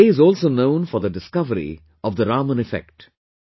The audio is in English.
This day is also known for the discovery of Raman Effect